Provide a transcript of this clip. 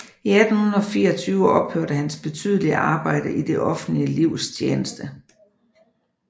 I 1824 ophørte hans betydelige arbejde i det offentlige livs tjeneste